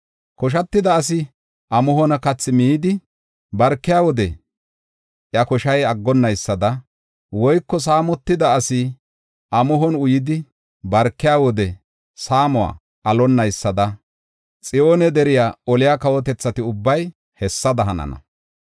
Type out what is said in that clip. Koshatida asi amuhon kathi midi, barkiya wode iya koshay aggonaysada woyko saamotida asi amuhon uyidi, barkiya wode saamuwa alonaysada, Xiyoone deriya oliya kawotethati ubbay hessada hanana.